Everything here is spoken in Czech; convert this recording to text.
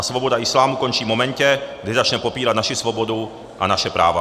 A svoboda islámu končí v momentě, kdy začne popírat naši svobodu a naše práva.